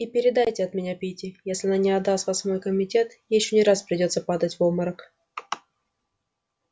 и передайте от меня питти если она не отдаст вас в мой комитет ей ещё не раз придётся падать в обморок